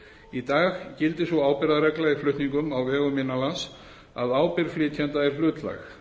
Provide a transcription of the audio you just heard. í dag gildir sú ábyrgðarregla í flutningum á vegum innanlands að ábyrgð flytjanda er hlutlæg